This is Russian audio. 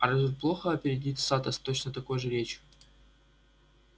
а разве плохо опередить сатта с точно такой же речью